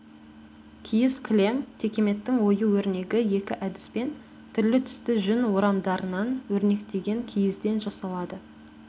киіз кілем текеметтің ою-өрнегі екі әдіспен түрлі-түсті жүн орамдарынан өрнектеген киізден жасалады